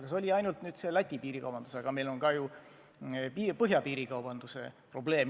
Ja see oli ainult Läti piirikaubandus, aga meil on ka ju põhjapiiril sama probleem.